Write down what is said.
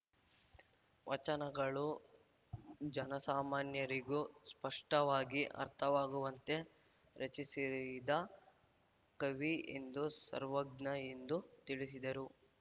ವಚನಗಳು ಜನಸಾಮಾನ್ಯರಿಗೂ ಸ್ಪಷ್ಟವಾಗಿ ಅರ್ಥವಾಗುವಂತೆ ರಚಿಸಿದ ಕವಿ ಎಂದು ಸರ್ವಜ್ಞ ಎಂದು ತಿಳಿಸಿದರು